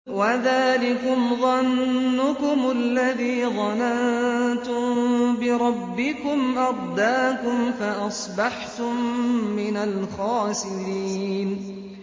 وَذَٰلِكُمْ ظَنُّكُمُ الَّذِي ظَنَنتُم بِرَبِّكُمْ أَرْدَاكُمْ فَأَصْبَحْتُم مِّنَ الْخَاسِرِينَ